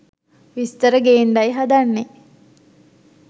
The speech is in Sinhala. විස්තර ගේන්ඩයි හදන්නේ.